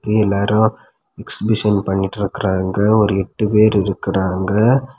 எல்லாரும் எக்ஸ்பிஷன் பண்ணிட்டு இருக்காங்க ஒரு எட்டு பேர் இருக்கிறாங்க.